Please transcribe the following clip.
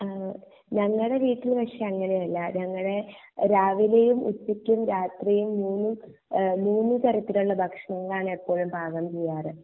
ഞങ്ങടെ വീട്ടിൽ പക്ഷേ അങ്ങനെ അല്ല ഞങ്ങടെ രാവിലേം ഉച്ചക്കും രാത്രിയും മൂന്നും എഹ് മൂന്നു തരത്തിലുള്ള ഭക്ഷണങ്ങൾ ആണ് ഇപ്പോഴും പാകം ചെയ്യാറ്